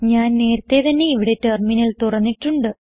ഞാൻ നേരത്തേ തന്നെ ഇവിടെ ടെർമിനൽ തുറന്നിട്ടുണ്ട്